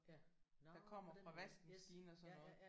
Nåh på den måde. Yes ja ja ja